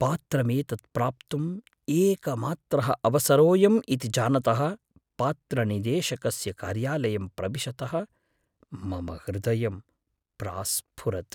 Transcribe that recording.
पात्रमेतत् प्राप्तुम् एकमात्रः अवसरोयम् इति जानतः पात्रनिदेशकस्य कार्यालयं प्रविशतः मम हृदयं प्रास्फुरत्।